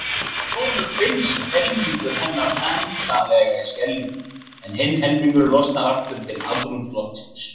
Í sjónum binst helmingur hennar endanlega í skeljum en hinn helmingurinn losnar aftur til andrúmsloftsins.